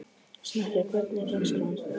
Snekkja, hvernig er dagskráin?